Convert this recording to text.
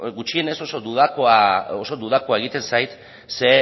gutxienez oso dudakoa egiten zait ze